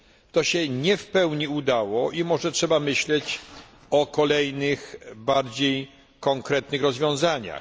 To się nie w pełni udało i może trzeba myśleć o kolejnych, bardziej konkretnych rozwiązaniach.